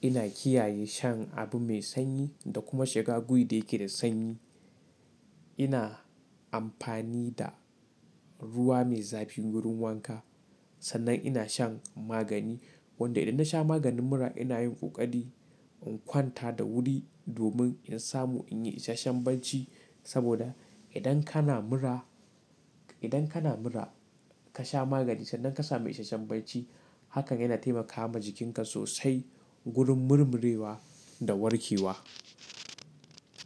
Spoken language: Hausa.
ina kiyaye shan abu mai sanyi da kuma shiga wuri da yake da sanyi. Ina amfani da ruwa mai zafi wurin wanka. Sannan ina shan magani wanda idan nasha maganin mura ina yin ƙoƙari in kwanta da wuri domin in samu in yi isasshen barci. Saboda idan kana mura, idan kana mura ka sha magani sannan ka samu isasshen barci hakan yana taimakawa jikinka sosai wurin murmurewa da warke wa.